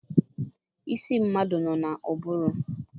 Isi mmadụ nọ n'ụbụrụ.